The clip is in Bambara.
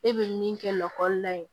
E bɛ min kɛ lakɔlila ye